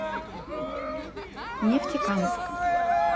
нефтекамск